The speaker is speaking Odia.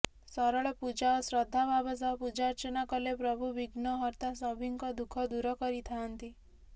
ସରଳ ପୂଜା ଓ ଶ୍ରଦ୍ଧାଭାବ ସହ ପୂଜାର୍ଚ୍ଚନା କଲେ ପ୍ରଭୁ ବିଘ୍ନହର୍ତ୍ତା ସଭିଁଙ୍କ ଦୁଃଖ ଦୂର କରିଥାଆନ୍ତି